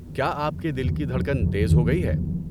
کیا آپ کے دل کی دھڑکن تیز ہو گئی ہے؟